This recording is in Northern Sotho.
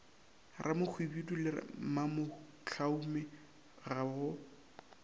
ramohwibidu le mamohlaume ga go